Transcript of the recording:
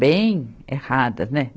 bem erradas, né?